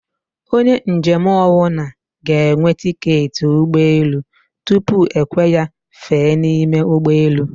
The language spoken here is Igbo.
Onye njem ọnwụna g'enwe tiketi ụgbọ elù tupu ekwe ya fèè niime ụgbọ elù